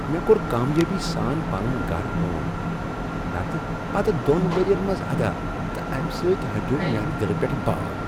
مےٚ کوٚر کامیٲبی سان پنن گرٕ لون نتہٕ پتہٕ دۄن ؤرین منٛز ادا تہٕ امہ سۭتۍ ہٹیوو میانہ دِلہ پٮ۪ٹھ بار۔